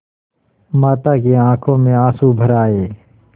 माता की आँखों में आँसू भर आये